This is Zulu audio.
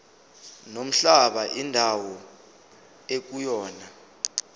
nomhlaba indawo ekuyona